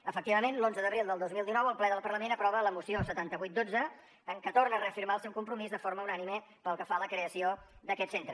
efectivament l’onze d’abril del dos mil dinou el ple del parlament aprova la moció setanta vuit xii en què torna a reafirmar el seu compromís de forma unànime pel que fa a la creació d’aquest centre